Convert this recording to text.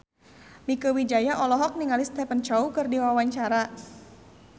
Mieke Wijaya olohok ningali Stephen Chow keur diwawancara